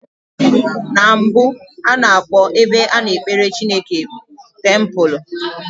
Na mbụ, a na-akpọ ebe a na-ekpere Chineke tempụlụ.